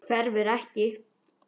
Hverfur ekki.